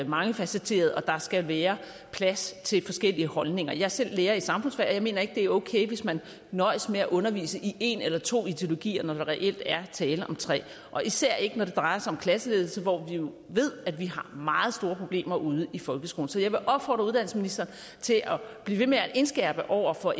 mangefacetteret og der skal være plads til forskellige holdninger jeg er selv lærer i samfundsfag og jeg mener ikke det er okay hvis man nøjes med at undervise i en eller to ideologier når der reelt er tale om tre og især ikke når det drejer sig om klasseledelse hvor vi jo ved at vi har meget store problemer ude i folkeskolen så jeg vil opfordre uddannelsesministeren til at blive ved med at indskærpe over for